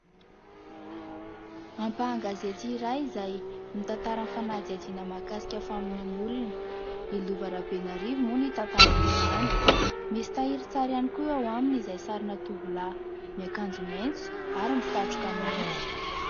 Ampahan-gazety iray izay mitantara fanadihadiana mahakasika famonoan'olona. I Lova Rabenarivo moa mitantara izany, misy tahirin-tsary ihany koa ao aminy, izay sarina tovolahy miakanjo maitso ary misatroka mainty.